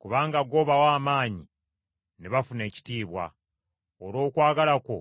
Kubanga gw’obawa amaanyi ne bafuna ekitiibwa. Olw’okwagala kwo